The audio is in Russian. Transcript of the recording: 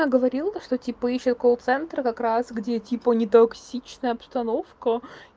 я говорил то что типа ищу колл-центра как раз где типа нетоксичная обстановка